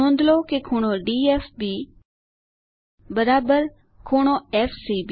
નોંધ લો કે ∠DFB ∠FCB